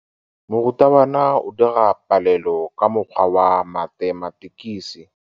Morutabana o dira palelô ka mokgwa wa mathematikisi.